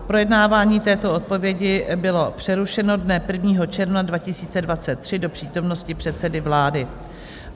Projednávání této odpovědi bylo přerušeno dne 1. června 2023 do přítomnosti předsedy vlády.